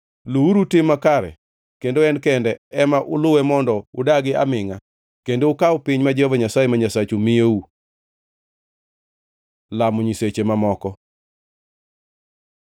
Luwuru tim makare kendo en kende ema uluwe mondo udagi amingʼa kendo ukaw piny ma Jehova Nyasaye ma Nyasachu miyou. Lamo nyiseche mamoko